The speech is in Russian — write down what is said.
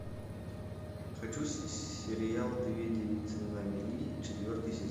хочу сериал две девицы на мели четвертый сезон